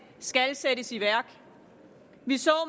sættes i værk vi så